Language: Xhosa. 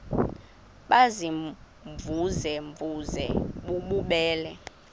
baziimvuze mvuze bububele